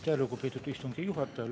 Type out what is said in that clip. Aitäh, lugupeetud istungi juhataja!